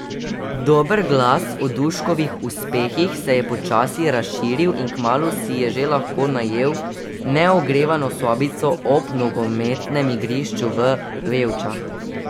Dober glas o Duškovih uspehih se je počasi razširil, in kmalu si je že lahko najel neogrevano sobico ob nogometnem igrišču v Vevčah.